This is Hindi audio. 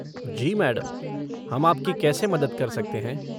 जी मैडम, हम आपकी कैसे मदद कर सकते हैं?